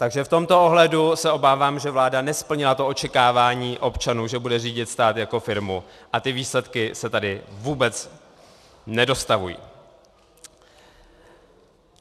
Takže v tomto ohledu se obávám, že vláda nesplnila to očekávání občanů, že bude řídit stát jako firmu, a ty výsledky se tady vůbec nedostavují.